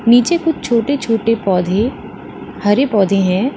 नीचे कुछ छोटे छोटे पौधे हरे पौधे हैं।